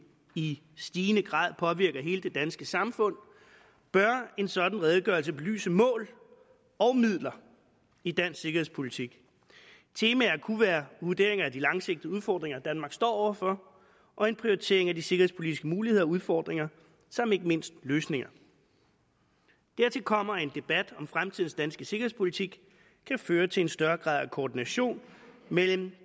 i stigende grad påvirker hele det danske samfund bør en sådan redegørelse belyse mål og midler i dansk sikkerhedspolitik temaer kunne være vurderinger af de langsigtede udfordringer danmark står over for og en prioritering af de sikkerhedspolitiske muligheder og udfordringer samt ikke mindst løsninger dertil kommer at en debat om fremtidens danske sikkerhedspolitik kan føre til en større grad af koordination mellem